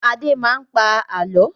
Adé máa ń pa àálọ́.